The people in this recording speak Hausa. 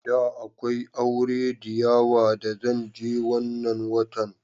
Da akwai aure diyawa da zan je wannan watan.